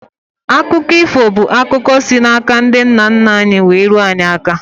Akụkọ ifo bụ akụkọ si na ndị nna nna anyị wee ruo anyị aka